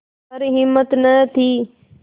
पर हिम्मत न थी